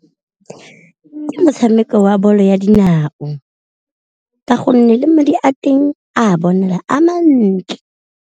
Ke motshameko wa bolo ya dinao, ka gonne le madi a teng a bonala a mantle.